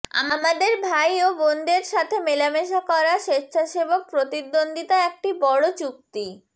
আমাদের ভাই ও বোনদের সাথে মেলামেশা করা স্বেচ্ছাসেবক প্রতিদ্বন্দ্বিতা একটি বড় চুক্তি